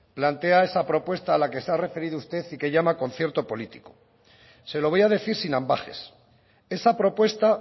plantea esa propuesta a la que se ha referido usted y llama concierto político se lo voy a decir sin ambages esa propuesta